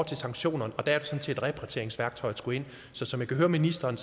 til sanktionerne og der er det sådan set at repatrieringsværktøjet skulle ind så som jeg hører ministeren